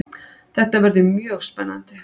Það verður mjög spennandi.